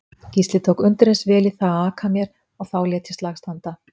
Gísli tók undireins vel í það að aka mér og þá lét ég slag standa.